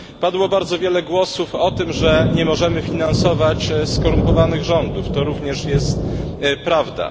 Padło bardzo wiele głosów o tym, że nie możemy finansować skorumpowanych rządów to również jest prawda.